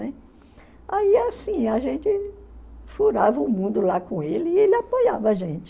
Aí assim, a gente furava o mundo lá com ele e ele apoiava a gente.